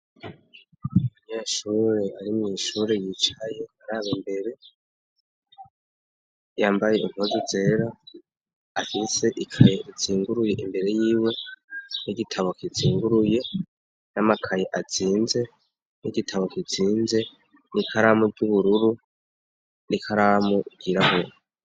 Umunyeshure ari mw'ishure yicaye araba imbere, yambaye impuzu zera, afise ikaye izinguruye imbere yiwe n'igitabo kizinguruye n'amakaye azinze n'igitabo kizinze n'ikaramu ry'ubururu, nikaramu ryirabura.